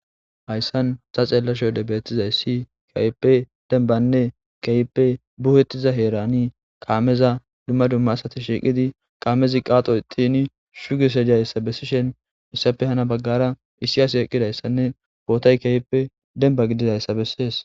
Hayssan ta xeellashe wode beettizayssi keehippe dembanne diza heerani kaameza dumma dumma asati shiiqidi kaamezi qaaxo ixxin sugishe dizayssa bessishin hessappe hani baggara hara issi asi eqqidayssanne bootay keehippe demba gididaysa bessees.